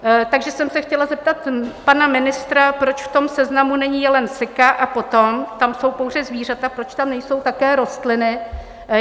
Takže jsem se chtěla zeptat pana ministra, proč v tom seznamu není jelen sika, a potom, tam jsou pouze zvířata, proč tam nejsou také rostliny.